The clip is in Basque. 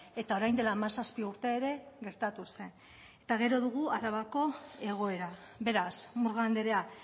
eta orain dela hamazazpi urte ere gertatu zen eta gero dugu arabako egoera beraz murga andrea